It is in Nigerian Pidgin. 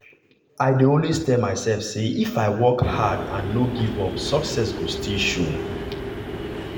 i dey always tell myself say if i work hard and no give up success go still show.